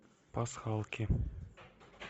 пасхалки